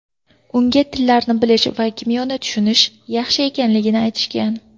Unga tillarni bilish va kimyoni tushunish yaxshi ekanligini aytishgan.